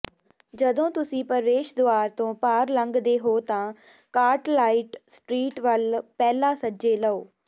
ਜਦੋਂ ਤੁਸੀਂ ਪ੍ਰਵੇਸ਼ ਦੁਆਰ ਤੋਂ ਪਾਰ ਲੰਘਦੇ ਹੋ ਤਾਂ ਕਾਰਟਰਾਈਟ ਸਟਰੀਟ ਵੱਲ ਪਹਿਲਾ ਸੱਜੇ ਲਓ